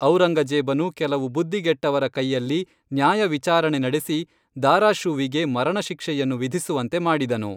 ಔರಂಗಜೇಬನು ಕೆಲವು ಬುದ್ಧಿಗೆಟ್ಟವರ ಕೈಯಲ್ಲಿ ನ್ಯಾಯ ವಿಚಾರಣೆ ನಡೆಸಿ ದಾರಾಷೂವಿಗೆ ಮರಣಶಿಕ್ಷೆಯನ್ನು ವಿಧಿಸುವಂತೆ ಮಾಡಿದನು